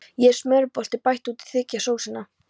Nú er smjörbollunni bætt út í til að þykkja sósuna.